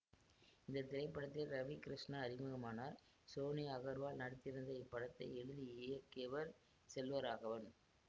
இந்த திரைப்படத்தில் ரவி கிருஷ்ணா அறிமுகமானார் சோனியா அகர்வால் நடித்திருந்த இப்படத்தை எழுதி இயக்கியவர் செல்வராகவன்